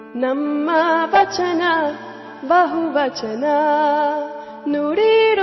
song